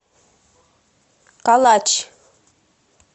калач